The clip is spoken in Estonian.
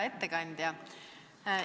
Hea ettekandja!